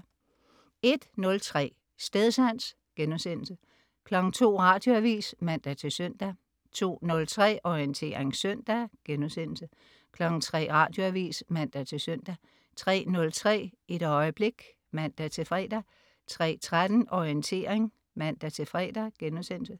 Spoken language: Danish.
01.03 Stedsans* 02.00 Radioavis (man-søn) 02.03 Orientering søndag* 03.00 Radioavis (man-søn) 03.03 Et øjeblik* (man-fre) 03.13 Orientering* (man-fre)